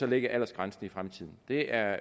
lægge aldersgrænsen i fremtiden det er